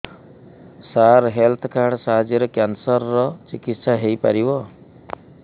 ସାର health card ସାହାଯ୍ୟରେ cancer ର ଚିକିତ୍ସା ହେଇପାରିବ